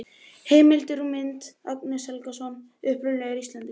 Heimildir og mynd: Agnar Helgason: Uppruni Íslendinga.